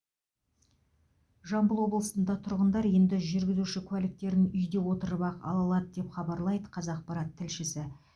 жамбыл облысында тұрғындар енді жүргізіші куәліктерін үйде отырып ақ ала алады деп хабарлайды қазақпарат тілшісі